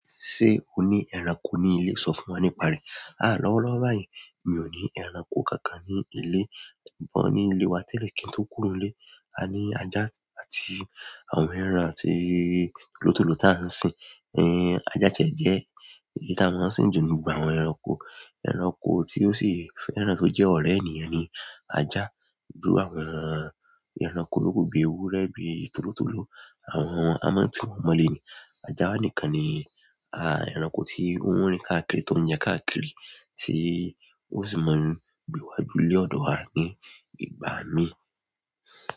Ṣé o ní ẹranko ní ilé? Sọ fún wa nípa rẹ̀. Aah, lọ́wọ́lọ́wọ́ báyìí, mi ò ní ẹranko kankan ní ilé. Ṣùgbọ́n ni ilé wa tẹ́lẹ̀ kí n tó kúrò nlé. A ní ajá àti àwọn ẹran àti àwọn tòlótòló tí a ń sìn. Ajá ti ẹ jẹ́ èyí ti a máa ni sìn jù nínú gbogbo àwọn ẹranko ẹranko tí ó sì fẹ́ràn tó jẹ́ ọ̀rẹ́ ènìyàn ni ajá. Biru àwọn ẹranko tóku bi ewúrẹ́, bi tòlótòló, àwọn amọ̀ tí wọ́n mọ̀lé ni. Ajá nìkan ni ẹranko tí ó ń rìn káàkiri tó ń yan káàkiri tí ó sì máa ń gbéwájú ilé ọ̀dọ̀ wa ní ìgbà mí.